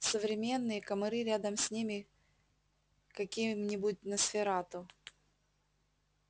современные комары рядом с ними каким-нибудь носферату